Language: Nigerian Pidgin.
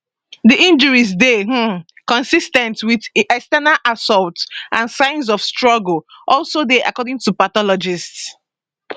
di injuries dey um consis ten t wit external assault and signs of struggle also dey according to pathologists